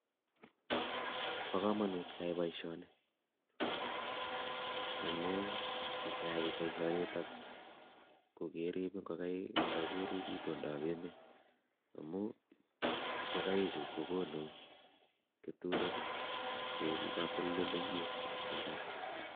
Bo kamanut keyai boishoni amu ngeia boishoni kokerip ngokaik akerip itondop emet amu ngokaichu kokonu keturek che eku katoldoiywek eng imbar